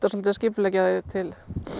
svolítið að skipuleggja þig til